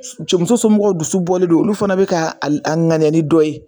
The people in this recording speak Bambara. Co muso somɔgɔw dusu bɔlen don, olu fana bi ka a ŋaniya ni dɔ ye